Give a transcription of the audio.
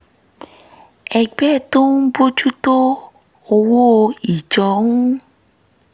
ẹgbẹ́ tó ń bójú tó owó ìjọ ń